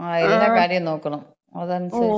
ങ്ങാ. എല്ലാ കാര്യോം നോക്കണം അതനുസരിച്ച് നമുക്ക്.